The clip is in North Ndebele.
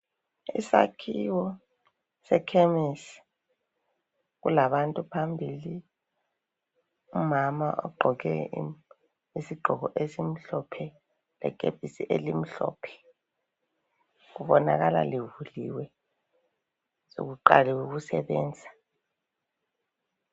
Isakhiwo sekhemisi, kulabantu phambili. Umama ogqoke isigqoko esimhlophe, lekepisi elimhlophe. Kubonakala livuliwe sokuqaliwe ukusebenza.